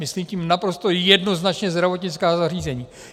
Myslím tím naprosto jednoznačně zdravotnická zařízení.